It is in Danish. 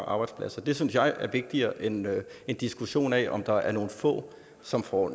arbejdspladser det synes jeg er vigtigere end en diskussion af om der er nogle få som får